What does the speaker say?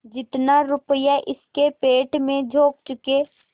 जितना रुपया इसके पेट में झोंक चुके